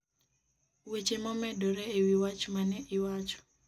weche momedore e wi watch ma ne iwacho